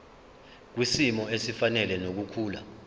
kwisimo esifanele nokukhula